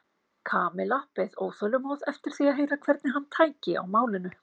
Kamilla beið óþolinmóð eftir því að heyra hvernig hann tæki á málinu.